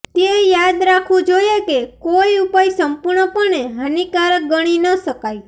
તે યાદ રાખવું જોઈએ કે કોઈ ઉપાય સંપૂર્ણપણે હાનિકારક ગણી ન શકાય